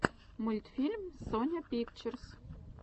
мультфильм соня пикчерс